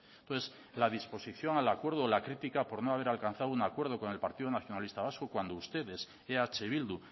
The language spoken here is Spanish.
entonces la disposición al acuerdo la crítica por no haber alcanzado un acuerdo con el partido nacionalista vasco cuando ustedes eh bildu